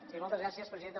sí moltes gràcies presidenta